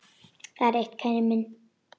Það er eitt, minn kæri.